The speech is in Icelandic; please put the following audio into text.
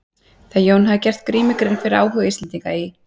Þegar Jón hafði gert Grími grein fyrir áhuga Íslendinga í